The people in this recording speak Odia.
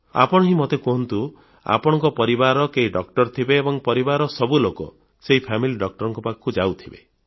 ଆପଣ ହିଁ ମୋତେ କହନ୍ତୁ ଆପଣଙ୍କ ପରିବାରର କେହି ଡାକ୍ତର ଥିବେ ଏବଂ ପରିବାରର ସବୁ ଲୋକ ସେହି ଫାମିଲି Doctorଙ୍କ ପାଖକୁ ଯାଉଥିବେ